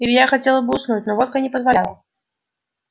илья хотел бы уснуть но водка не позволяла